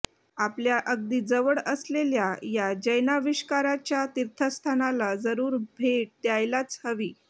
आपल्या अगदी जवळ असलेल्या या जैनाविष्काराच्या तिर्थस्थानाला जरूर भेट द्यायलाच हवी